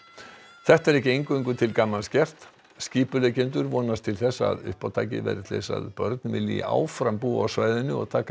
þetta er ekki eingöngu til gamans gert skipuleggjendur vonast til að uppátækið verði til þess að börn vilji áfram búa á svæðinu og taka í